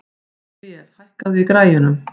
Míríel, hækkaðu í græjunum.